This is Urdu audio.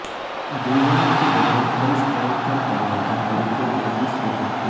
ادویات کے بغیر کولیسٹرول کم کرنے کا طریقہ کے تیسرے طریقہ